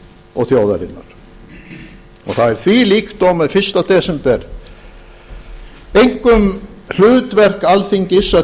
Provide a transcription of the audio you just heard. og þjóðarinnar það er því líkt og með fyrsta desember einkum hlutverk alþingis að